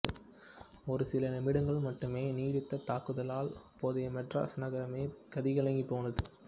ஒரு சில நிமிடங்கள் மட்டுமே நீடித்த தாக்குதலால் அப்போதைய மெட்ராஸ் நகரமே கதிகலங்கிப்போனது